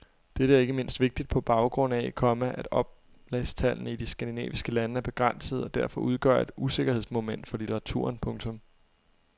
Dette er ikke mindst vigtigt på baggrund af, komma at oplagstallene i de skandinaviske lande er begrænsede og derfor udgør et usikkerhedsmoment for litteraturen. punktum